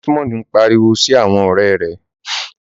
Desmond n pariwo si awọn ọrẹ rẹ